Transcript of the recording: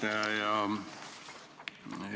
Hea juhataja!